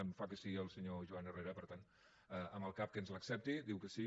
em fa que sí el senyor joan herrera per tant amb el cap que ens l’accepta diu que sí